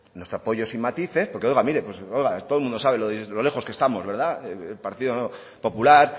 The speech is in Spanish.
nuestro apoyo sin matices porque oiga mire todo el mundo sabe lo lejos que estamos el partido popular